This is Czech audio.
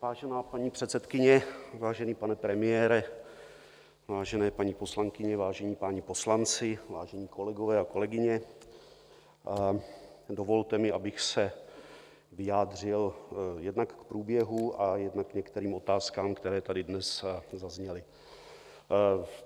Vážená paní předsedkyně, vážený pane premiére, vážené paní poslankyně, vážení páni poslanci, vážení kolegové a kolegyně, dovolte mi, abych se vyjádřil jednak k průběhu, jednak k některým otázkám, které tady dnes zazněly.